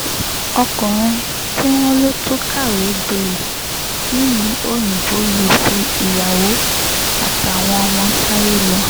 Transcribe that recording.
ọkùnrin tí wọ́n lọ tún kàwé gboyè nílùú òyìnbó yìí fi ìyàwó àtàwọn ọmọ sáyé lọ